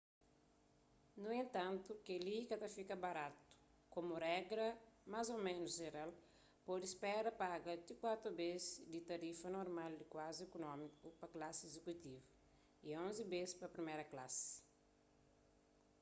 nu entantu kel-li ka ta fika baratu komu regras más ô ménus jeral pode spera paga ti kuatu bês di tarifa normal di klasi ikunómiku pa klasi izikutivu y onzi bês pa priméra klasi